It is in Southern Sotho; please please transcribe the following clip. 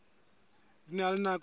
di na le nako e